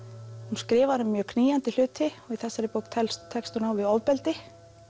hún skrifar um mjög knýjandi hluti og í þessari bók tekst tekst hún á við ofbeldi